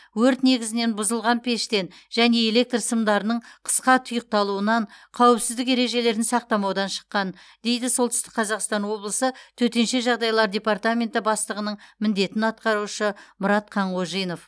өрт негізінен бұзылған пештен және электр сымдарының қысқа тұйықталуынан қауіпсіздік ережелерін сақтамаудан шыққан дейді солтүстік қазақстан облысы төтенше жағдайлар департаменті бастығының міндетін атқарушы мұрат қанғожинов